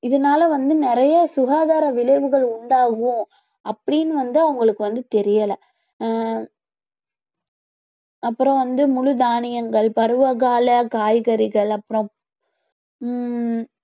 இதனாலே வந்து நிறைய சுகாதார விளைவுகள் உண்டாகும் அப்பிடின்னு வந்து அவங்களுக்கு வந்து தெரியல ஆஹ் அப்புறம் வந்து முழு தானியங்கள் பருவ கால காய்கறிகள் அப்புறம் ஹம்